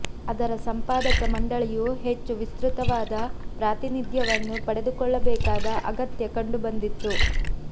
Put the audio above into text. ಅದರ ಸಂಪಾದಕ ಮಂಡಳಿಯು ಹೆಚ್ಚು ವಿಸ್ತೃತವಾದ ಪ್ರಾತಿನಿಧ್ಯವನ್ನು ಪಡೆದುಕೊಳ್ಳಬೇಕಾದ ಅಗತ್ಯ ಕಂಡುಬಂದಿತ್ತು